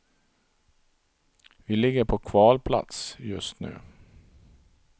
Vi ligger på kvalplats just nu.